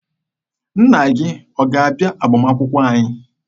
Nna gị ọ ga-abịa agbamakwụkwọ anyị?